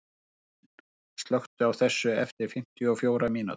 Bjarnhéðinn, slökktu á þessu eftir fimmtíu og fjórar mínútur.